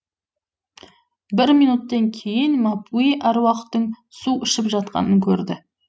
бір минуттен кейін мапуи әруақтың су ішіп жатқанын көрді